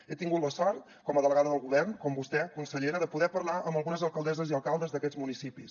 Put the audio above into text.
he tingut la sort com a delegada del govern com vostè consellera de poder parlar amb algunes alcaldesses i alcaldes d’aquests municipis